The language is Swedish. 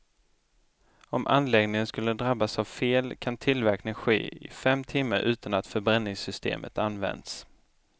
Om anläggningen skulle drabbas av fel kan tillverkning ske i fem timmar utan att förbränningssystemet används.